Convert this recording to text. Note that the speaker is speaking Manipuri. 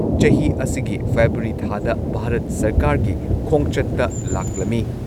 ꯆꯍꯤ ꯑꯁꯤꯒꯤ ꯐꯦꯕ꯭ꯔꯨꯋꯔꯤ ꯊꯥꯗ ꯚꯥꯔꯠ ꯁꯔꯀꯥꯔꯒꯤ ꯈꯣꯡꯆꯠꯇ ꯂꯥꯛꯂꯝꯃꯤ꯫